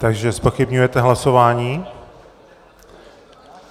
Takže zpochybňujete hlasování?